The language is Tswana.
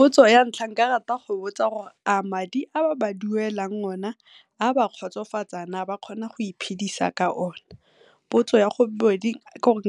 Potso ya ntlha ke ka rata go ba botsa gore a madi a ba ba duelang o na a ba kgotsofatsa naa, a ba kgona go iphedisa ka ona? Potso ya ke gore